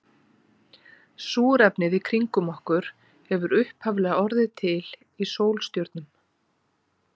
súrefnið í kringum okkur hefur upphaflega orðið til í sólstjörnum